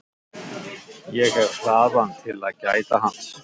Ég hef hraðann til að gæta hans.